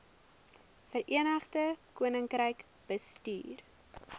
verenigde koninkryk bestuur